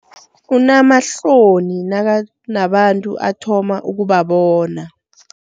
Unamahloni nakanabantu athoma ukuba bona.